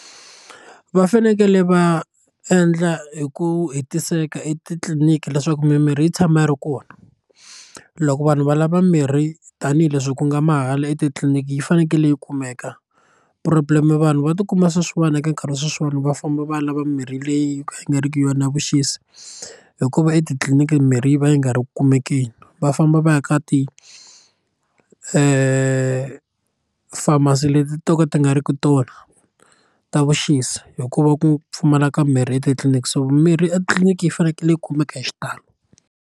Va fanekele va endla hi ku hetiseka etitliliniki leswaku mimirhi yi tshama yi ri kona loko vanhu va lava mirhi tanihileswi ku nga mahala etitliliniki yi fanekele yi kumeka problem vanhu va tikuma sweswiwani eka nkarhi wa sweswiwani va famba va ya lava mimirhi leyi yi nga ri ki yona ya vuxisi hikuva etitliliniki mirhi yi va yi nga ri ki ku kumekeni va famba va ya ka ti pharmacy leti to ka ti nga ri ku tona ta vuxisi hikuva ku pfumala ka mirhi etitliliniki so mimirhi etliliniki yi fanekele yi kumeka hi xitalo.